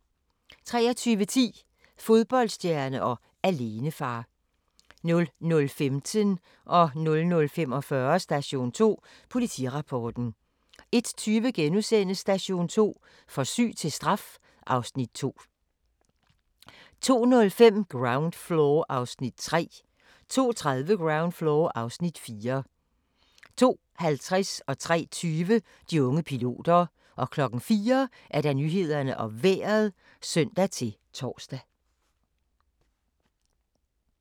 23:10: Fodboldstjerne og alenefar 00:15: Station 2: Politirapporten 00:45: Station 2: Politirapporten 01:20: Station 2: For syg til straf (Afs. 2)* 02:05: Ground Floor (Afs. 3) 02:30: Ground Floor (Afs. 4) 02:50: De unge piloter 03:20: De unge piloter 04:00: Nyhederne og Vejret (søn-tor)